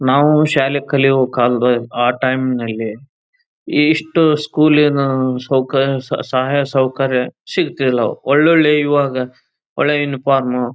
ನಾವು ಶಾಲೆ ಕಲಿಯೋ ಕಾಲದಲ್ಲಿ ಆ ಟೈಮ್ ನಲ್ಲಿ ಇಷ್ಟು ಸ್ಕೂಲಿನಾ ಸೌಕರ್ಯ ಸಹಾಯ ಸೌಕರ್ಯ ಸಿಗಿತಿಲ ಒಳ್ಳೊಳ್ಳೆ ಇವಾಗ ಒಳ್ಳೆ ಯುನಿಫಾರ್ಮ್ --